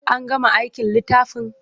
An gama aikin littafin?